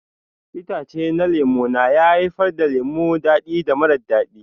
Itace na lemu na haifar da lemu dadi da mara dadi.